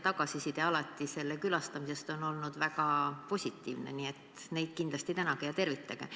Tagasiside muuseumi külastamise kohta on alati olnud väga positiivne, nii et kindlasti tänage ja tervitage neid.